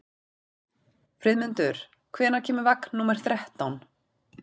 Friðmundur, hvenær kemur vagn númer þrettán?